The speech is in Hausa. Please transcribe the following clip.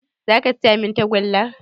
Za ka siya min tagullar?